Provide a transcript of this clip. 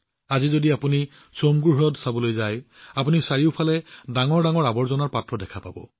আজি যদি আপুনি চোমগো হ্ৰদ চাবলৈ যায় আপুনি চাৰিওফালে বিশাল আৱৰ্জনা জমা কৰা পাত্ৰ দেখা পাব